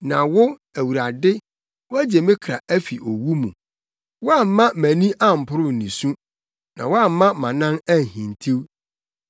Na wo, Awurade, woagye me kra afi owu mu; woamma mʼani amporow nisu, na woamma mʼanan anhintiw